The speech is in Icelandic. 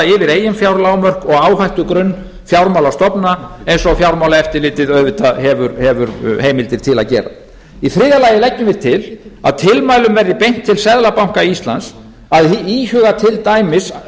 yfir eiginfjárlán og áhættugrunn fjármálastofnana eins og fjármálaeftirlitið auðvitað hefur heimildir til að gera í þriðja lagi leggjum við til að tilmælum verði beint til seðlabanka íslands að íhuga til dæmis